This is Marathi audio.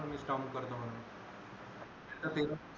काम करतो म्हणून त्याचा ते पण